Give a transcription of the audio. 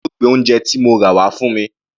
Tani yóò gbé oúnje ti mo rà wá fún mi?